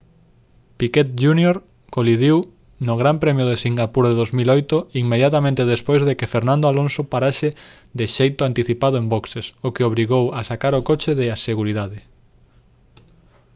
piquet jr colidiu no gran premio de singapur de 2008 inmediatamente despois de que fernando alonso parase de xeito anticipado en boxes o que obrigou a sacar o coche de seguridade